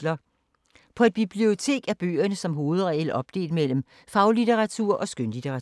På et bibliotek er bøgerne som hovedregel opdelt mellem faglitteratur og skønlitteratur.